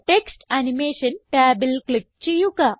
text animation ടാബിൽ click ചെയ്യുക